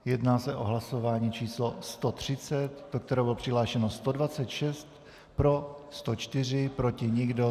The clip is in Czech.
Jedná se o hlasování číslo 130, do kterého bylo přihlášeno 126, pro 104, proti nikdo.